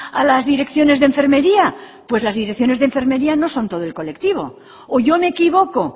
a las direcciones de enfermería pues las direcciones de enfermería no son todo el colectivo o yo me equivoco